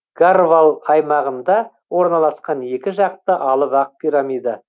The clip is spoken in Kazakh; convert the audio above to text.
гарвал аймағында орналасқан екі жақты алып ақ пирамида